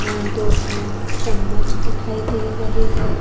यहां दो तीन चम्मच दिखाई दे रहे है।